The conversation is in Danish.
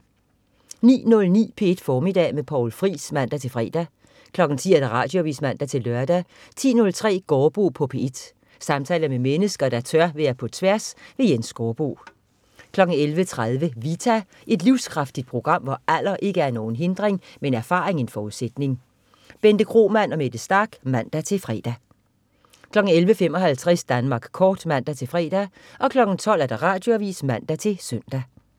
09.09 P1 Formiddag med Poul Friis (man-fre) 10.00 Radioavis (man-lør) 10.03 Gaardbo på P1. Samtaler med mennesker, der tør være på tværs. Jens Gaardbo 11.30 Vita. Et livskraftigt program, hvor alder ikke er nogen hindring, men erfaring en forudsætning. Bente Kromann og Mette Starch (man-fre) 11.55 Danmark kort (man-fre) 12.00 Radioavis (man-søn)